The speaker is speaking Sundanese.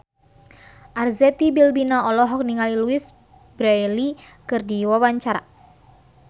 Arzetti Bilbina olohok ningali Louise Brealey keur diwawancara